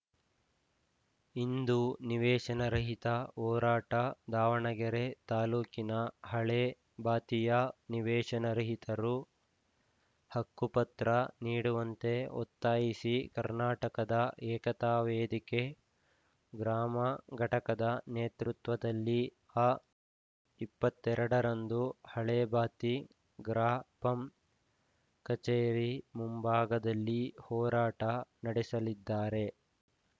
ಇಂದು ನಿವೇಶನರಹಿತರ ಹೋರಾಟ ದಾವಣಗೆರೆ ತಾಲೂಕಿನ ಹಳೇ ಬಾತಿಯ ನಿವೇಶನ ರಹಿತರು ಹಕ್ಕುಪತ್ರ ನೀಡುವಂತೆ ಒತ್ತಾಯಿಸಿ ಕರ್ನಾಟಕದ ಏಕತಾ ವೇದಿಕೆ ಗ್ರಾಮ ಘಟಕದ ನೇತೃತ್ವದಲ್ಲಿ ಅ ಇಪ್ಪತ್ತ್ ಎರಡರಂದು ಹಳೇಬಾತಿ ಗ್ರಾಪಂ ಕಚೇರಿ ಮುಂಭಾಗದಲ್ಲಿ ಹೋರಾಟ ನಡೆಸಲಿದ್ದಾರೆ